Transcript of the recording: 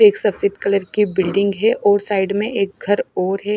एक सफेद कलर की बिल्डिंग है और साइड में एक घर और है।